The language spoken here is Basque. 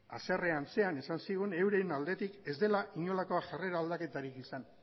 haserre antzean esan zigun euren aldetik ez dela inolako jarrera aldaketarik izan